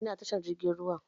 Ina tashar jirgin ruwa?